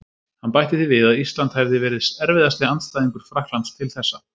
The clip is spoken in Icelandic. Hann bætti því við að Ísland hefði verið erfiðasti andstæðingur Frakklands til þessa.